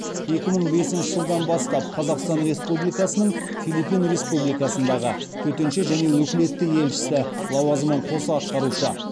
екі мың бесінші жылдан бастап қазақстан республикасының филиппин республикасындағы төтенше және өкілетті елшісі лауазымын қоса атқарушы